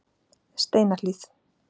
Steinahlíð